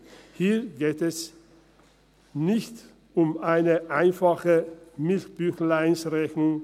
Hier geht es nicht um eine einfache Milchbüchleinrechnung.